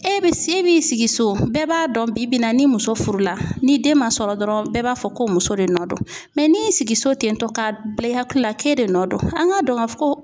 E bi se e b'i sigi so bɛɛ b'a dɔn bi bi in na ni muso furula ni den ma sɔrɔ dɔrɔn bɛɛ b'a fɔ ko muso de nɔ don n'i y'i sigi so ten tɔ ka bila i hakili la k'e de nɔ don an ka dɔn ka fɔ ko